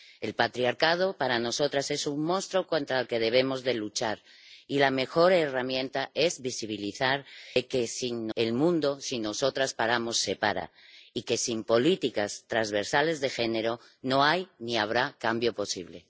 El patriarcado, para nosotras, es un monstruo contra el que debemos luchar, y la mejor herramienta es visibilizar que el mundo, si nosotras paramos, se para, y que sin políticas transversales de género, no hay ni habrá cambio posible.